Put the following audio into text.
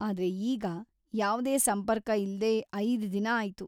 ಆದ್ರೆ ಈಗ ಯಾವ್ದೇ ಸಂಪರ್ಕ ಇಲ್ದೇ ಐದ್ ದಿನ ಆಯ್ತು.